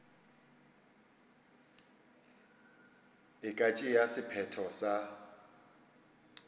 e ka tšea sephetho sa